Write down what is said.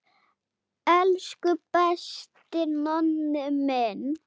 Elsku besti Nonni minn.